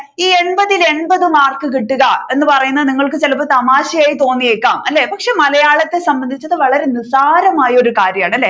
ഈ എൺപത്തിൽ എൺപത് മാർക്ക് കിട്ടുക എന്ന് പറയുന്നത് നിങ്ങൾക്ക് ചിലപ്പോൾ തമാശയായി തോന്നിയേക്കാം അല്ലെ പക്ഷെ മലയാളത്തെ സംബന്ധിച്ച് അത് വളരെ നിസാരമായ ഒരു കാര്യമാണ് അല്ലെ